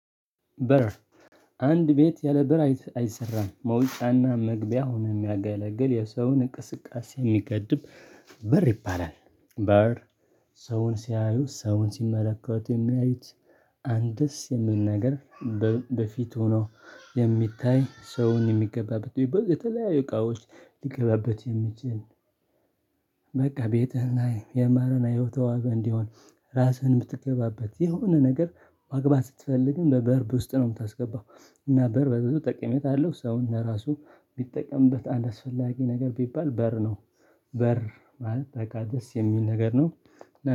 በር አንድ ቤት ያለ በር አይሰራም መውጫና መግቢያ ሆኖ የሚያገለግል የሰውን እቅስቃሴ የሚገድብ በር ይባላል። በር ሰውን ሲያዩ ሰውን ሲመለከቱት የሚያዩት አንድስ የሚል ነገር በፊት ሆኖ የሚታይ ሰውን የሚገባበት የተለያዩ እቃዎች ሊገባበት የሚችል። በቃ ቤትህን ላይ የማረና የተዋበ እንዲሆን ራስህን የምትገባበት የሆነ ነገር ማግባት ስትፈልግም በበር ውስጥ ነው የምታስገባው እና በር በብዙ ጠቀሜታ አለው ሰውን ለራሱ ቢጠቀምበት አንድ አስፈላጊ ነገር ቢባል በር ነው። በር ማለት በቃ ደስ የሚል ነገር ነው